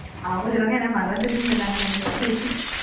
அவுக சொல்றாங்க எனக்கு மறந்துருச்சுன்னு சொன்னாங்க னா என்ன செய்வீங்க